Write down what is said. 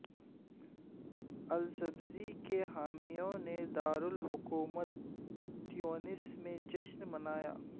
Essebsi کے حامیوں نے دارالحکومت تیونس میں جشن منایا